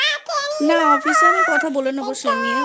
না অফিসে আমি কথা বলে নেব সে নিয়ে